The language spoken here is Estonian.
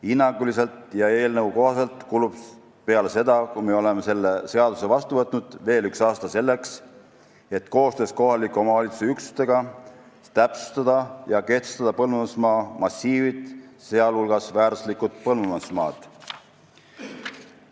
Hinnanguliselt ja eelnõu kohaselt kulub peale seda, kui me oleme selle seaduse vastu võtnud, veel üks aasta, selleks et koostöös kohaliku omavalitsuse üksustega täpsustada ja kehtestada põllumajandusmaa massiivid, sh väärtuslikud põllumajandusmaad.